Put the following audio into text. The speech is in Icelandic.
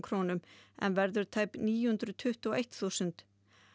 krónum en verður tæp níu hundruð tuttugu og eitt þúsund